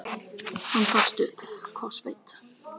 Hann gafst upp, kófsveittur.